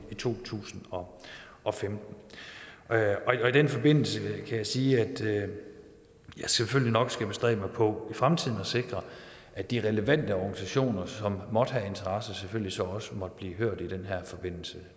to tusind og og femten i den forbindelse kan jeg sige at jeg selvfølgelig nok skal bestræbe mig på i fremtiden at sikre at de relevante organisationer som måtte have interesse i det selvfølgelig så også måtte blive hørt i den her forbindelse